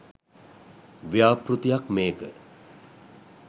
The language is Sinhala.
ව්‍යාපෘතියක් මේක.